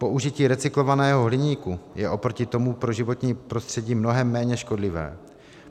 Použití recyklovaného hliníku je oproti tomu pro životní prostředí mnohem méně škodlivé.